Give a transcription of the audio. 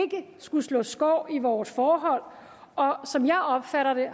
skulle slå skår i vores forhold og landsstyret har som jeg opfatter det